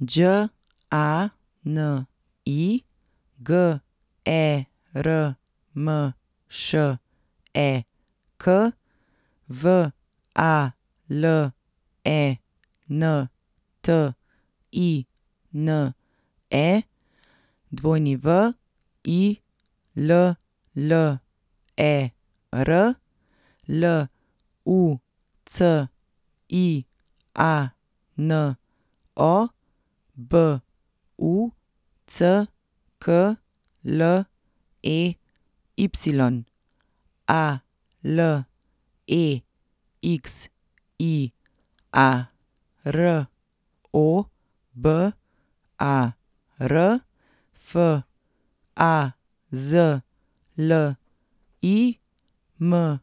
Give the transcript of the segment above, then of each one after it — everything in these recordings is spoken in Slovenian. Đ A N I, G E R M Š E K; V A L E N T I N E, W I L L E R; L U C I A N O, B U C K L E Y; A L E X I A, R O B A R; F A Z L I, M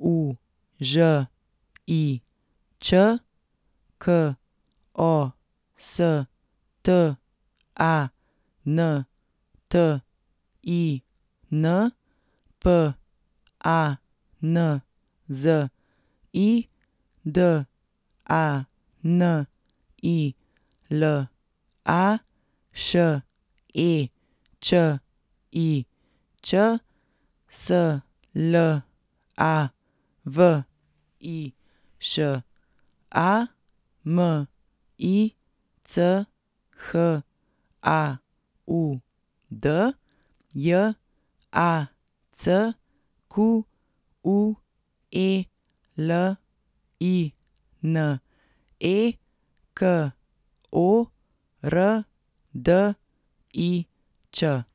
U Ž I Č; K O S T A N T I N, P A N Z I; D A N I L A, Š E Č I Ć; S L A V I Š A, M I C H A U D; J A C Q U E L I N E, K O R D I Č.